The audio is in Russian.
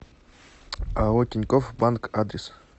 ао тинькофф банк адрес